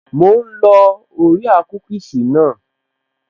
Mò ń lọ orea kúkìsì naa